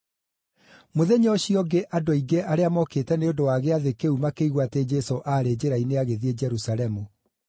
Mũthenya ũcio ũngĩ andũ aingĩ arĩa mokĩte nĩ ũndũ wa Gĩathĩ kĩu makĩigua atĩ Jesũ aarĩ njĩra-inĩ agĩthiĩ Jerusalemu.